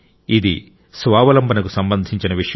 ఇది స్వావలంబనకు సంబంధించిన విషయం